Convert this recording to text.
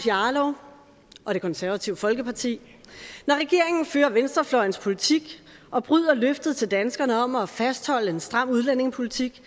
jarlov og det konservative folkeparti når regeringen fører venstrefløjens politik og bryder løftet til danskerne om at fastholde en stram udlændingepolitik